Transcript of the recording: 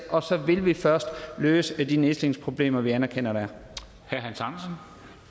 og så vil vi først løse de nedslidningsproblemer som vi anerkender der er